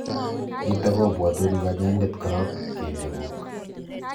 nitok kopwatin kanyaindet korok keliek kuuk